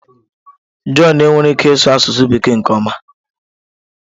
John enweghị ike ịsụ asụsụ Bekee nke ọma.